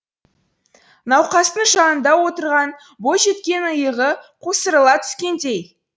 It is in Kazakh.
науқастың жанында отырған бойжеткеннің иығы қусырыла түскендей